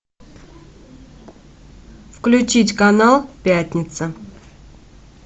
включить канал пятница